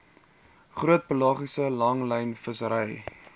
groot pelagiese langlynvissery